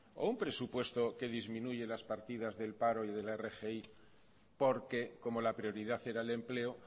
o un presupuesto que disminuya las partidas del paro y de la rgi porque como la prioridad era el empleo